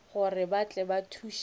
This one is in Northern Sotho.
gore ba tle ba thuše